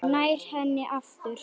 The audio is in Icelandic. Nær henni aftur.